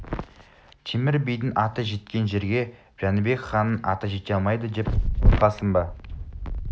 темір бидің аты жеткен жерге жәнібек ханның аты жете алмайды деп қорқасың ба